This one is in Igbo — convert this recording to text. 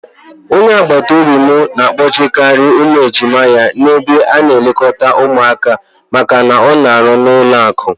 Onye agbataobi m na-akpọjekarị ụmụ ejima ya n'ebe a na-elekọta ụmụaka maka na ọ na-arụ n'ụlọakụ.